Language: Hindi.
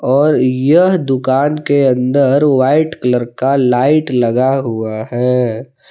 और यह दुकान के अंदर वाइट कलर का लाइट लगा हुआ है।